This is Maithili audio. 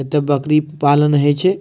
अत बकरी पालन होइ छे।